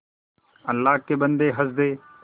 अल्लाह के बन्दे हंस दे